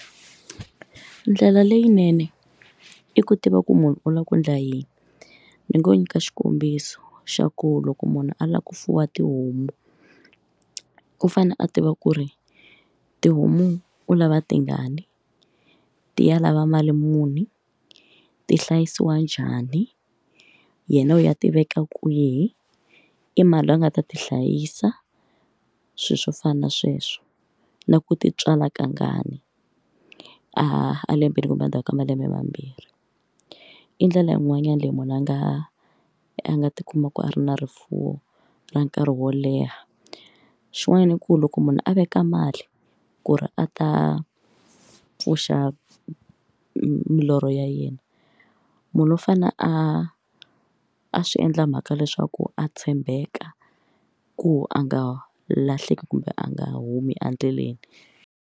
Ndlela leyinene i ku tiva ku munhu u lava ku endla yini ni ngo nyika xikombiso xa ku loko munhu a lava ku fuwa tihomu u fanele a tiva ku ri tihomu u lava tingani ti ya lava mali muni ti hlayisiwa njhani yena u ya ti veka kwihi i mani loyi a nga ta ti hlayisa swilo swo fana na sweswo na ku ti tswala kangani a lembeni kumbe endzhaku ka malembe mambirhi i ndlela yin'wanyana leyi munhu a nga a nga ti kuma ku a ri na rifuwo ra nkarhi wo leha xin'wanyana i ku loko munhu a veka mali ku ri a ta pfuxa milorho ya yena munhu u fane a a swi endla mhaka leswaku a tshembeka ku a nga lahleki kumbe a nga humi endleleni.